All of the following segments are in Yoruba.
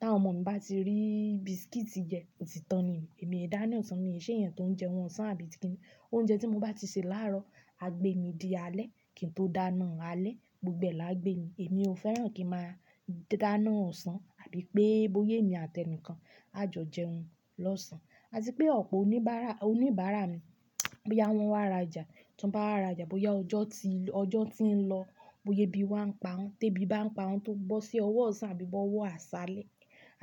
Táwọn ọmọ mi bá ti rí biscuit yẹn, òtítan niyen, èmi e hin dáná ọ̀sán, mi ò ṣe èèyàn tó ń jẹun ọ̀sán àbí kíni. Oúnjẹ tí mo bá ti sè láàárọ̀, a gbé mi di alẹ́ kí n tó dáná alẹ́, gbogbo ẹ̀ lá gbé mi. Èmi ò fẹ́ràn kí màá dáná ọ̀sán àbí pé bóyé mi àti ẹnìkan a jọ jẹun lọ́sàn-án. Àti pé ọ̀pọ̀ oníbàárà, oníbàárà mi, bóyá wọ́n wá raja, tí wọ́n bá wá raja, bóyá ọjọ́ ti, ọjọ́ tí ń lọ, bóya ebí wa ń pa wọ́n, té bí ba ń pa wọ́n tó bọ́ sí ọwọ́ ọ̀sán àbí bó ó wọ́ àṣálẹ́,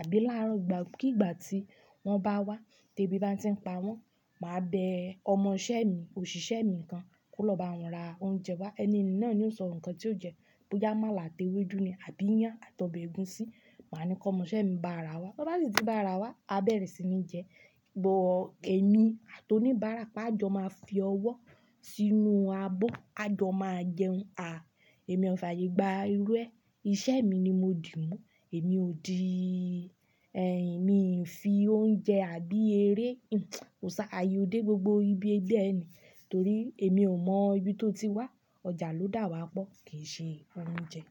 àbí láàrọ̀, ìgbà kí ìgbà tí wọ́n bá wá, té bí ba ti ń pa wọ́n, màá bẹ ọmọ isẹ́ mi, òṣìṣẹ́ mi kan kó lọ bá wọn ra oúnjẹ wá. Ẹni, yi náà ni ó sọ nǹkan tí ó jẹ́, bóyá amàlà àti ewédú ni àbí iyán àti obe ègúsí. Màá ni kí ọmọ isẹ́ mi bá ara wá. Bi o bá sì tí bá ara wá, a bẹ̀rẹ̀ sí ní jẹ. Bo, èmi àto oníbàárà pa jọ máa fi ọwọ́ sínú abọ́, a jọ máa jẹun. A, èmi ò fààyè gba irú ẹ. Iṣẹ́ mi ni mo dì mú. Èmi ò di, ẹ, mi fi oúnjẹ àbí eré, o ṣà àyè o dé gbogbo ibi ẹdẹ́ ẹni torí èmi ò mọ ibi tó ti wá. Ọjà ló dà wá pọ̀, kì í ṣe oúnjẹ.